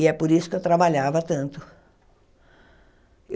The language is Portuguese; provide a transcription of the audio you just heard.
E é por isso que eu trabalhava tanto.